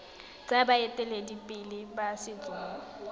tsa baeteledipele ba setso mo